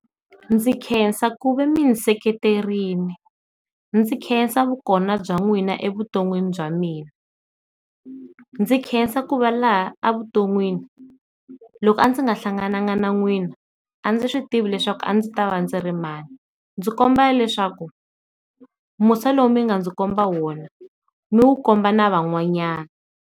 Ndzi khensa ku va mi ndzi seketerile ndzi khensa vu kona bya n'wina evuton'wini bya mina ndzi nkhensa ku va laha a vu ton'wini loko a ndzi nga hlangananga na n'wina a ndzi swi tivi leswaku a ndzi ta va ndzi ri mani, ndzi kombela leswaku musa lowu mi nga ndzi komba wona mi wu komba na van'wanyana.